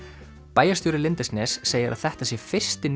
bæjarstjóri segir að þetta sé fyrsti